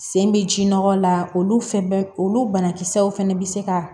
Sen bɛ ji nɔgɔ la olu fɛn bɛ olu banakisɛw fɛnɛ bɛ se ka